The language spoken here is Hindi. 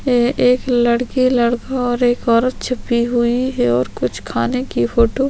कोई एक दो लड़के - लड़का और एक औरत छिपी हुई है कुछ खाने की फोटो --